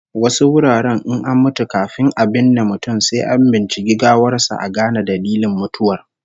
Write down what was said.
Wasu wuraren in an mutu, kafin a binne mutum sai an binciki gawar sa a gane dalilin mutuwar